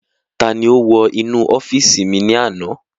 Ta ni ó wọ inú ọ́fìsì mi ní àná?